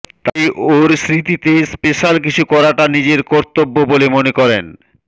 তাই ওর স্মৃতিতে স্পেশ্যাল কিছু করাটা নিজের কর্তব্য বলে মনে করেন